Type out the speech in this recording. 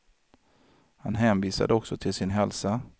Han hänvisade också till sin hälsa.